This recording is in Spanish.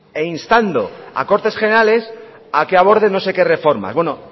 e instando a cortes generales a que aborde no sé qué reforma bueno